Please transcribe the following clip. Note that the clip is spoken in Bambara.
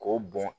K'o bɔn